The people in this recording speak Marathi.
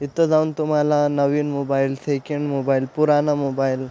इथ जाऊन तुम्हाला नवीन मोबाइल सेकंड मोबाइल पुराणा मोबाइल --